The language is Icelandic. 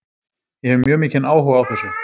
Ég hef mjög mikinn áhuga á þessu.